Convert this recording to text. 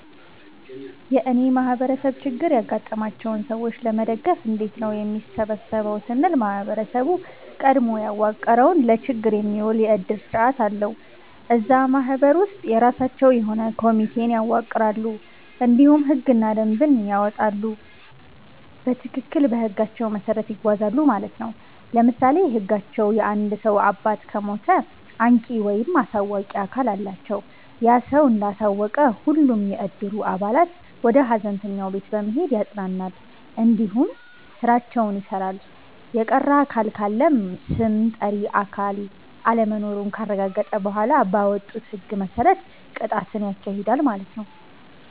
የእኔ ማህበረሰብ ችግር ያጋጠማቸውን ሰዎች ለመደገፍ እንዴት ነው የሚሰበሰበው ስንል ማህበረሰቡ ቀድሞ ያዋቀረዉ ለችግር የሚዉል የዕድር ስርዓት አለዉ። እዛ ማህበር ውስጥ የራሳቸዉ የሆነ ኮሚቴን ያዋቅራሉ እንዲሁም ህግና ደንብን ያወጣሉ በትክክል በህጋቸዉ መሰረት ይጓዛሉ ማለት ነዉ። ለምሳሌ ህጋቸዉ የአንድ ሰዉ አባት ከሞተ አንቂ(አሳዋቂ)አካል አላቸዉ ያ ሰዉ እንዳሳወቀ ሁሉም የዕድሩ አባላት ወደ ሀዘንተኛዉ ቤት በመሄድ ያፅናናል እንዲሁም ስራዎችን ይሰራል። የቀረ አካል ካለም ስም ጠሪ አካል አለመኖሩን ካረጋገጠ በኋላ ባወጡት ህግ መሰረት ቅጣትን ያካሂዳል ማለት ነዉ።